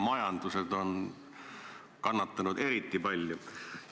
Majandused aga on kannatanud eriti palju.